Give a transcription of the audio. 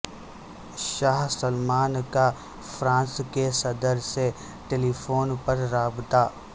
شاہ سلمان کا فرانس کے صدر سے ٹیلی فون پر رابطہ